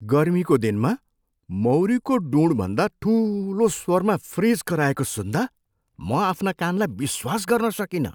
गर्मीको दिनमा मौरीको ढुँडभन्दा ठुलो स्वरमा फ्रिज कराएको सुन्दा म आफ्ना कानलाई विश्वास गर्न सकिनँ!